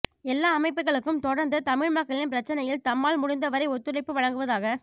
எல்லா அமைப்புக்களும் தொடர்ந்து தமிழ்மக்களின் பிரச்சனையில் தம்மால் முடிந்த வரை ஒத்துழைப்பு வழங்குவதாக